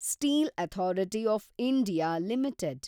steel authority of India limited